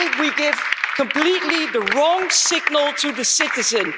I think we give completely the wrong signal to the citizen.